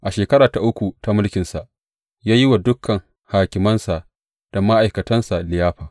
A shekara ta uku ta mulkinsa, ya yi wa dukan hakimansa da ma’aikatansa liyafa.